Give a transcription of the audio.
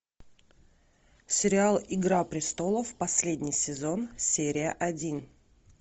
сериал игра престолов последний сезон серия один